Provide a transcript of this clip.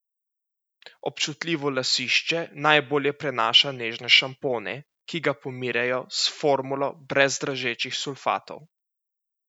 Občutljivo lasišče najbolje prenaša nežne šampone, ki ga pomirjajo s formulo brez dražečih sulfatov.